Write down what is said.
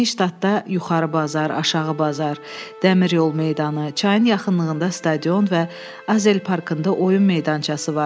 Nə Ştadda yuxarı bazar, aşağı bazar, dəmir yol meydanı, çayın yaxınlığında stadion və Azelparkında oyun meydançası var.